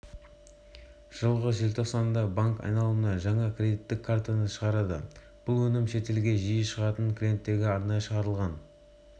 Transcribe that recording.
жылғы желтоқсанда банк айналымға жаңа кредиттік картаны шығарды бұл өнім шетелге жиі шығатын клиенттерге арнайы шығарылған